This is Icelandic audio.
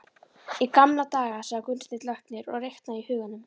Í gamla daga, sagði Gunnsteinn læknir og reiknaði í huganum.